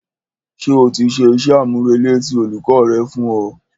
Ṣé o ti ṣe iṣẹ́-àmúrelé tí olùkọ́ rẹ fún ọ?